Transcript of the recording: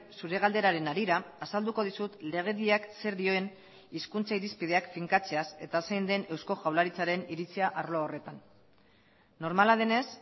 zure galderaren harira azalduko dizut legediak zer dioen hizkuntza irizpideak finkatzeaz eta zein den eusko jaurlaritzaren iritzia arlo horretan normala denez